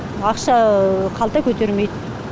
ақша қалта көтермейді